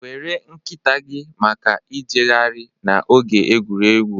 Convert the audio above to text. Were nkịta gị maka ijegharị na oge egwuregwu.